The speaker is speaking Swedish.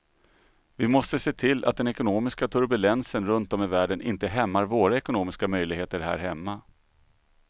Vi måste se till att den ekonomiska turbulensen runt om i världen inte hämmar våra ekonomiska möjligheter här hemma.